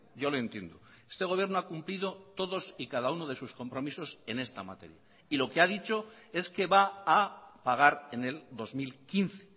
yo lo entiendo este gobierno ha cumplido todos y cada uno de sus compromisos en esta materia y lo que ha dicho es que va a pagar en el dos mil quince